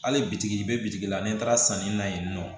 Hali bitigi i bɛ bitigi la n'i taara sanni na yen nɔ